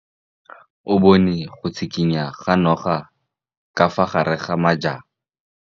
O bone go tshikinya ga noga ka fa gare ga majang.